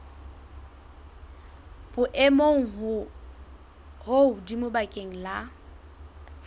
boemong bo hodimo bakeng la